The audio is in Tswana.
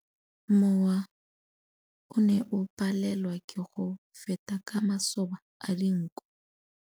Mowa o ne o palelwa ke go feta ka masoba a dinko.